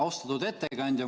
Austatud ettekandja!